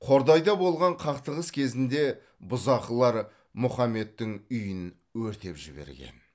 қордайда болған қақтығыс кезінде бұзақылар мұхаммедтің үйін өртеп жіберген